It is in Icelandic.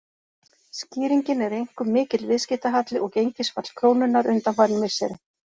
Skýringin er einkum mikill viðskiptahalli og gengisfall krónunnar undanfarin misseri.